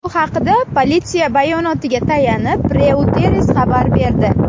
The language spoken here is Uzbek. Bu haqda politsiya bayonotiga tayanib, Reuters xabar berdi .